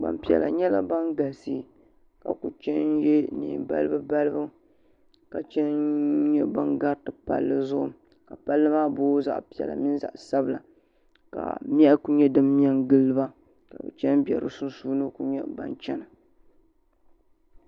Gbaŋ piɛla nyɛla bini galisi ka kuli chɛ n ye nɛɛn balibu balibu ka chɛn nyɛ ban gariti palli Zugu ka palli maa boogi zaɣi piɛla mini zaɣi sabila ka mɛhi kuli nyɛ dini mɛ n gili ba ka bi chɛn mbɛ di sunsuni n kuli chɛna.